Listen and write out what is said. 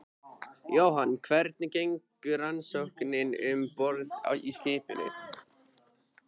Jóhann: Hvernig gengur rannsóknin um borð í skipinu?